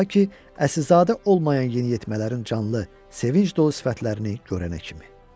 Ta ki, Əsilzadə olmayan yeniyetmələrin canlı, sevinc dolu sifətlərini görənə kimi.